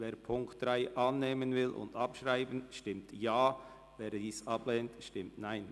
Wer die Ziffer 3 annehmen und abschreiben will, stimmt Ja, wer dies ablehnt, stimmt Nein.